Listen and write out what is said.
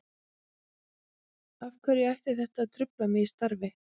Af hverju ætti þetta að trufla mig í starfi?